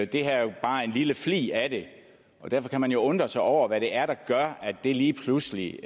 det her er jo bare en lille flig af det og derfor kan man jo undre sig over hvad det er der gør at det lige pludselig